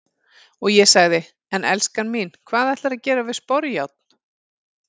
Og ég sagði:- En elskan mín, hvað ætlarðu að gera við sporjárn?